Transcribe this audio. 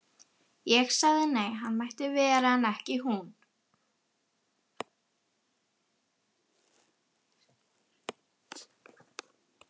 Ég sagði nei, hann mætti vera en ekki hún.